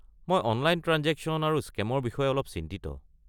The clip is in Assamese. মই অনলাইন ট্ৰাঞ্জেকশ্যন আৰু স্কে'মৰ বিষয়ে অলপ চিন্তিত।